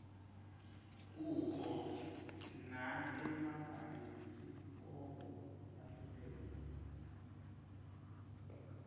kukho naemabhayisikobho lahlukene